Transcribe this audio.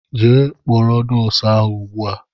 Jee kpọrọ m nóósu ahụ ùgbúà!!!!